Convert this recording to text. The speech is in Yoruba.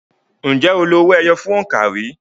Ǹjẹ́ o lo owó ẹyọ fún òǹkà rí?